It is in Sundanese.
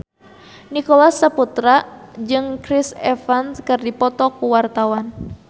Nicholas Saputra jeung Chris Evans keur dipoto ku wartawan